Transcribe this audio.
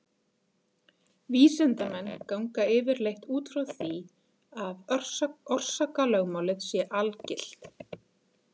Vísindamenn ganga yfirleitt út frá því að orsakalögmálið sé algilt.